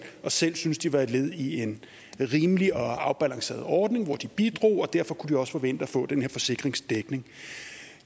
og selv synes at de var et led i en rimelig og afbalanceret ordning hvor de bidrog og derfor kunne de også forvente at få den her forsikringsdækning